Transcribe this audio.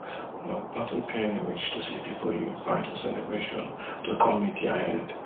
nothing pain reach to see pipu you invite for celebration to come meet dia end